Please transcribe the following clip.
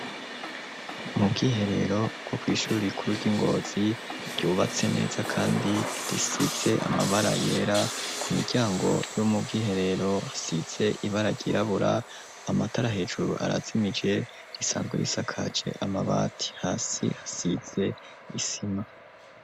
Mu bwiherero bwo kw'ishuri rikuru ryi ngozi ryubatse neza kandi risize amabara yera ku miryango yo mu bwiherero hasize ibara ry'irabura amatara hejuru arazimije risanzwe risakaje amabati hasi hasize isima.